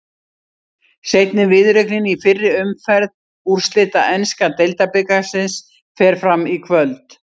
Seinni viðureignin í fyrri umferð úrslita enska deildabikarsins fer fram í kvöld.